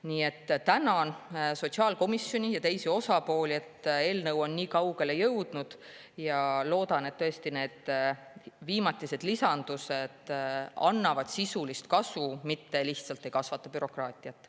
Nii et tänan sotsiaalkomisjoni ja teisi osapooli, et eelnõu on nii kaugele jõudnud, ja loodan, et need viimatised lisandused annavad tõesti sisulist kasu, mitte lihtsalt ei kasvata bürokraatiat.